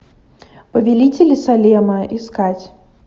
повелители салема искать